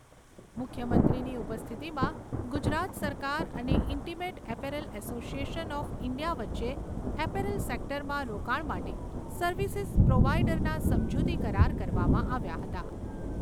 મુખ્યમંત્રીની ઉપસ્થિતિમાં ગુજરાત સરકાર અને Intimate Apparel Association of India વચ્ચે એપેરેલ સેક્ટરમાં રોકાણ માટે સર્વિસિસ પ્રોવાઇડરના સમજૂતી કરાર કરવામાં આવ્યા હતા.